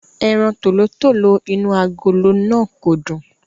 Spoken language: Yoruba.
Ẹran tòlótòló inú agolo náà kò dùn.